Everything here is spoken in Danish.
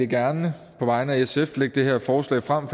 gerne på vegne af sf lægge det her forslag frem